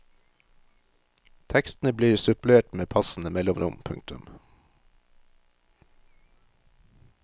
Tekstene blir supplert med passende mellomrom. punktum